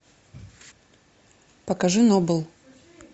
покажи нобл